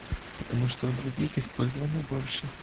потому что у других использования больше